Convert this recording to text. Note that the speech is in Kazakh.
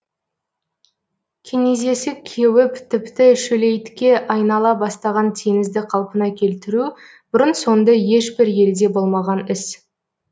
кенезесі кеуіп тіпті шөлейтке айнала бастаған теңізді қалпына келтіру бұрын соңды ешбір елде болмаған іс